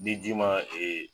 Ni ji ma